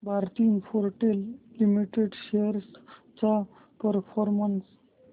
Bharti Infratel limited shares चा performance